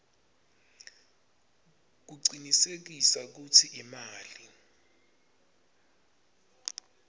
kucinisekisa kutsi imali